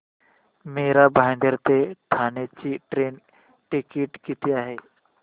मीरा भाईंदर ते ठाणे चे train ticket किती आहे